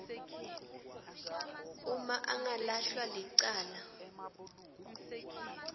uma angalahlwa licala